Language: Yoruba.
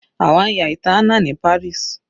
Àwa ń ya ìtàn Anna ní Paris.